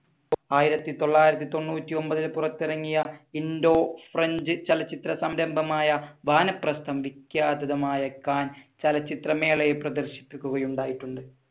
ആയിരത്തി തൊള്ളായിരത്തി തൊണ്ണൂറ്റി ഒൻപതിൽ പുറത്തിറങ്ങിയ ഇൻഡോ ഫ്രഞ്ച് ചലച്ചിത്ര സംരംഭമായ വാനപ്രസ്ഥം വിഖ്യാതമായ കാൻ ചലച്ചിത്രമേളയിൽ പ്രദർശിപ്പിക്കുക ഉണ്ടായിട്ടുണ്ട്.